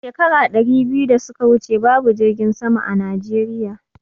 Shekara ɗari biyu da suka wuce babu jirgin sama a Najeriya